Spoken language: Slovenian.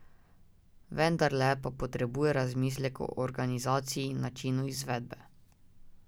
Vendarle pa potrebuje razmislek o organizaciji in načinu izvedbe.